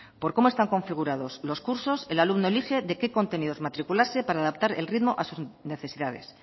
por cómo están configurados los cursos el alumno elige de qué contenidos matricularse para adaptar el ritmo a sus necesidades